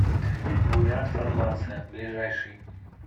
бурят фармация ближайший